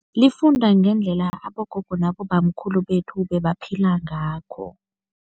Lifunda ngendlela abogogo nabobamkhulu bethu bebaphila ngakho.